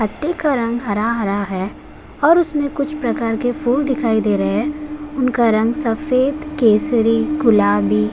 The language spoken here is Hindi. पत्ते का रंग हरा-हरा है और उसमे कुछ प्रकार के फूल दिखाई दे रहे हैं उनका रंग सफ़ेद केसरी गुलाबी --